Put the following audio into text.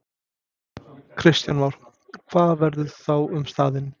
Kristján Már: Hvað verður þá um staðinn?